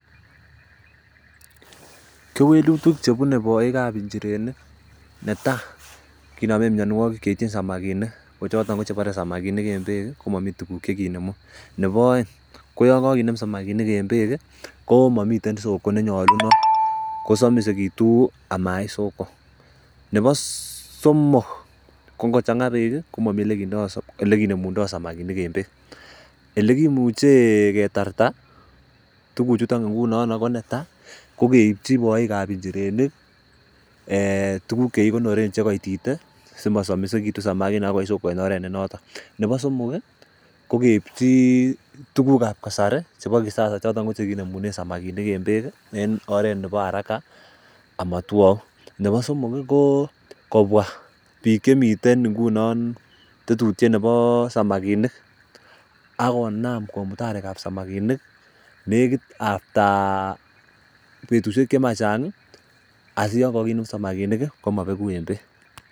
Kewelutik chebunee boikab njirenik, netaa kinomen mianwogik cheityin samakinik, kochoton kochebore samakinik en beek ii komo mii tuguk chekinemun, ne bo aeng koo yongo kinem samakinik en beek komiten soko nenyolunot kosomisekitu amait soko ,nebo somok ko ngochang'aa beek komomii olekinemundoo samakinik en beek olekimuche ketarta tuguchuton ingunon, ko netai kokeipchi boikab njirenik tuguk chekikonoren chekoititee simosomisekitu samakinik akoi soko en oret nenoton, ne bo somok ii kokeipchi tugukab kasari chebo kisasa choton ko chekinemunen samakinik en beek en oret ne bo haraka amotwou ,ne bo somok koo kobwa biik chemiten ngunon tetutiet ne bo samakinik akonam komut arekab samakinik nekit after betusiek chema chang ii asiyon kokinem samakinik komobeku en beek.